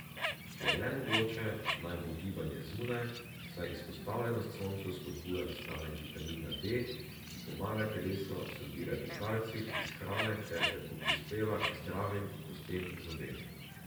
Če je le mogoče, naj bo gibanje zunaj, saj izpostavljenost soncu spodbuja nastanek vitamina D, ki pomaga telesu absorbirati kalcij iz hrane ter tako prispeva k zdravim kostem in zobem.